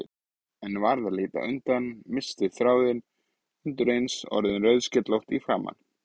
En varð að líta undan, missti þráðinn, undireins orðin rauðskellótt í framan.